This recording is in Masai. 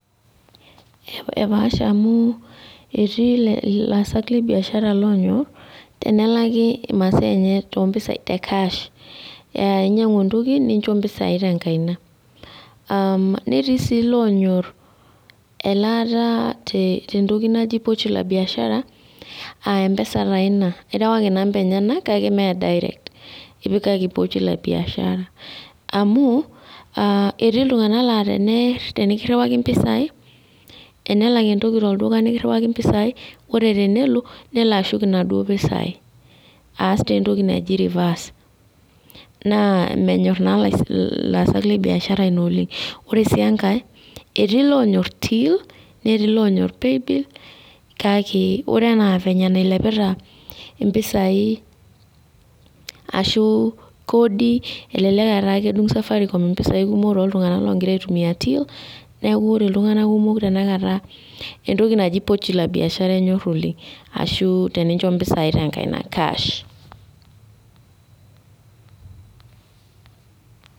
Epaasha amu etii laasak lebiashara oyok tenelakwa nelaki masaa enye te cash aa inyangu entoki nincho mpisai tenkaina ketii si lonyor elaata tentoki naji poochi la biashara irelewaki namba enyenak kake ma direct ipikaki [cs[ pochi la biashara amu etii ltunganak na tenikiwaki mpisai tenelak entoki pekiriwaki mpisai ore tenelo nelo ashuk nona pisai aas entoki naji reverse namenyor na laasak le biashara Oleng ore si enkae etii lonyor till netii lonyor paybill kake ore na vile nailepita mpisai ashu kodi elelek ataa kedung safaricom mpisai neaku ore ltunganak kumok tanakataka entoki najo pochi la biashara enyor oleng arashu tenincho mpisai tenkaina cash